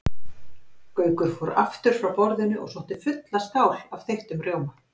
Gaukur fór aftur frá borðinu og sótti fulla skál af þeyttum rjóma.